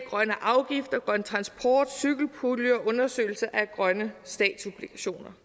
grønne afgifter grøn transport cykelpulje og undersøgelse af grønne statsobligationer